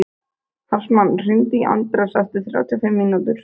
Hartmann, hringdu í Anders eftir þrjátíu og fimm mínútur.